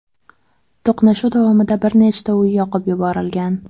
To‘qnashuv davomida bir nechta uy yoqib yuborilgan.